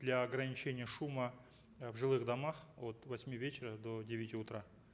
для ограничения шума э в жилых домах от восьми вечера до девяти утра